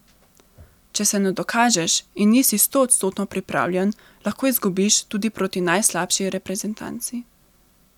Če se ne dokažeš in nisi stoodstotno pripravljen, lahko izgubiš tudi proti najslabši reprezentanci.